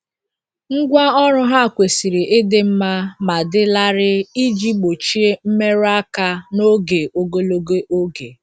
Ngwa ọrụ ha kwesiri ịdị mma ma dị larịị iji gbochie mmerụ aka n'oge ogologo oge.